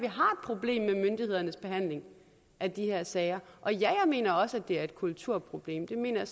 problem med myndighedernes behandling af de her sager og ja jeg mener også at det er et kulturproblem jeg mener